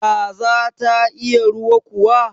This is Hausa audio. Kaza ta iya ruwa kuwa?